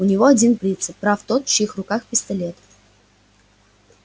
у него один принцип прав тот в чьих руках пистолет